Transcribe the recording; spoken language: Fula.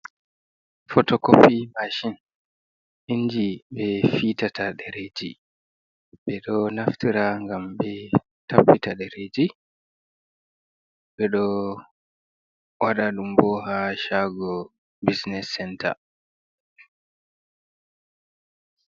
Photocopy Machine: inji ɓe fitata ɗereji. Ɓe ɗo naftira ngam be tappita ɗereji. Ɓe do waɗa ɗum bo ha shago business center.